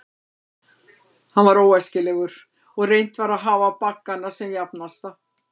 Hann var óæskilegur, og reynt var að hafa baggana sem jafnasta.